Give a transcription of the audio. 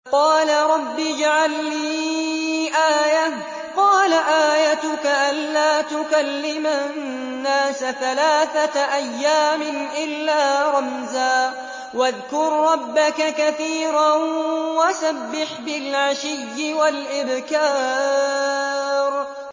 قَالَ رَبِّ اجْعَل لِّي آيَةً ۖ قَالَ آيَتُكَ أَلَّا تُكَلِّمَ النَّاسَ ثَلَاثَةَ أَيَّامٍ إِلَّا رَمْزًا ۗ وَاذْكُر رَّبَّكَ كَثِيرًا وَسَبِّحْ بِالْعَشِيِّ وَالْإِبْكَارِ